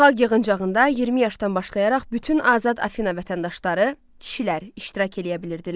Xalq yığıncağında 20 yaşdan başlayaraq bütün azad Afina vətəndaşları, kişilər iştirak eləyə bilirdilər.